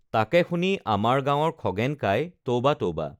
তাকে শুনি আমাৰ গাঁৱৰ খগেন কাই তৌবা তৌবা